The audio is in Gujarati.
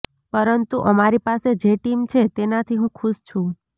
પરંતુ અમારી પાસે જે ટીમ છે તેનાથી હું ખુશ છું